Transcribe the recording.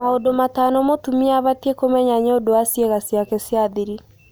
Maũndũ matano mũtumia abatie kũmenya nĩũndũ wa ciĩga ciake cia thiri